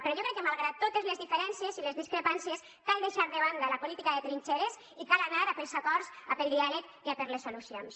però jo crec que malgrat totes les diferències i les discrepàncies cal deixar de banda la política de trinxeres i cal anar a pels acords a pel diàleg i a per les solucions